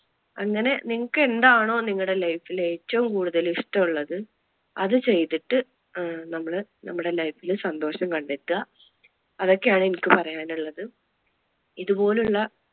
അങ്ങനെ നിങ്ങൾക്ക് എന്താണോ നിങ്ങളുടെ life ൽ ഏറ്റവും കൂടുതൽ ഇഷ്ടം ഉള്ളത് അത് ചെയ്തിട്ട് അഹ് നമ്മള് നമ്മുടെ life ല് സന്തോഷം കണ്ടെത്തുക. അതൊക്കെ ആണ് എനിക്ക് പറയാൻ ഉള്ളത്. ഇതുപോലുള്ള